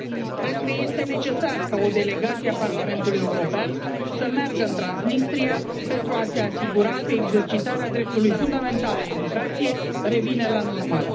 Cred că este necesar ca o delegație a Parlamentului European să meargă în Transnistria pentru a se asigura că exercitarea dreptului fundamental la educație revine la normal.